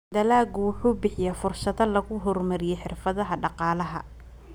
Dalaggu wuxuu bixiyaa fursado lagu horumariyo xirfadaha dhaqaalaha.